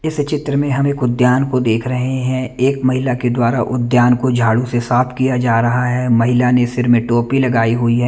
इस चित्र में हमें एक उद्यान को देख रहे हैं एक महिला के द्वारा उद्यान को झाड़ू से साफ किया जा रहा है महिला ने सिर में टोपी लगाई हुई है।